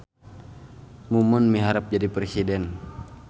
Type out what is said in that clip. Mumun miharep jadi presiden